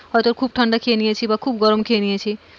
হয়তো খুব ঠান্ডা খেয়ে নিয়েছি বা খুব গরম খেয়ে নিয়েছি।